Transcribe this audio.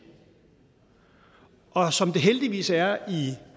og som det heldigvis er i